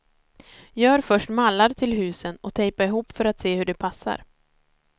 Gör först mallar till husen och tejpa ihop för att se hur det passar.